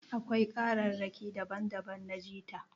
Akwai kararraƙi daban daban na jita